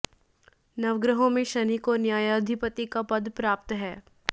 नवग्रहों में शनि को न्यायाधिपति का पद प्राप्त है